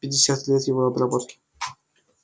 пятьдесят лет его обработки